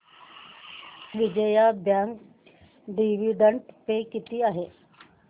Vijaya bank dividend pay किती आहे